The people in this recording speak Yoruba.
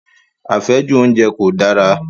Àfẹ́jù oúnjẹ kò dára.